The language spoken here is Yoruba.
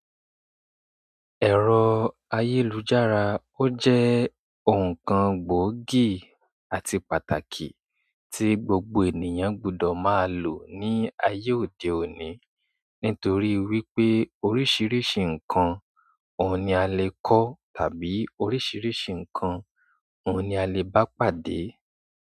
Ẹ̀rọ ayélujára ó jẹ́ nkan gboogi àti pàtàkì tí gbogbo ènìyàn gbọ́dọ̀ máa lò, nítorí wioe oríṣiríṣi nkán oun ni a lè kọ́, tàbí oríṣiríṣi ǹkan oun ni a lè bá pàdé.